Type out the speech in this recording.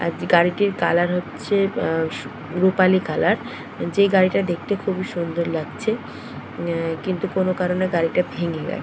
আর যে গাড়িটির কালার হচ্ছে আ সু রুপালি কালার । যে গাড়িটা দেখতে খুবই সুন্দর লাগছে। আ কিন্তু কোন কারনে গাড়িটা ভেঙে গে--